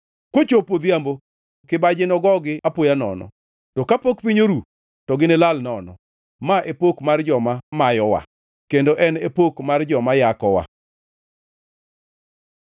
Kochopo odhiambo, kibaji nogogi apoya nono! To kapok piny oru, to ginilal nono! Ma e pok mar joma mayowa, kendo en e pok mar joma yakowa.